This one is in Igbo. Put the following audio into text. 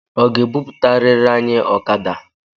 Ọ ga-ebuputarirị anyị okada?